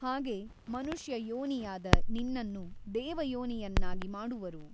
ಹಾಗೆ ಮನುಷ್ಯ ಯೋನಿಯಾದ ನಿನ್ನನ್ನು ದೇವಯೋನಿಯನ್ನಾಗಿ ಮಾಡುವರು.